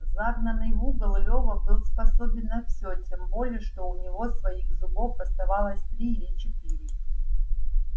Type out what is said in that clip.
загнанный в угол лёва был способен на всё тем более что у него своих зубов оставалось три или четыре